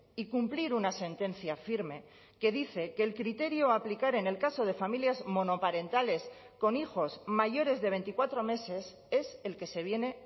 y cumplir una sentencia firme que dice que el criterio a aplicar en el caso de familias monoparentales con hijos mayores de veinticuatro meses es el que se viene